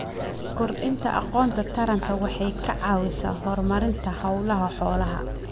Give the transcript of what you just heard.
Kordhinta aqoonta taranta waxay ka caawisaa horumarinta hawlaha xoolaha.